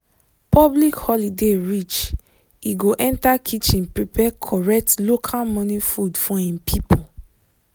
public holiday reach e go enter kitchen prepare correct local morning food for him people.